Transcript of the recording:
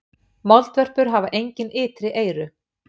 Moldvörpur hafa engin ytri eyru.